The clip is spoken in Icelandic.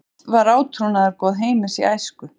Hvert var átrúnaðargoð Heimis í æsku?